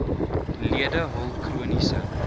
lede hul chroniese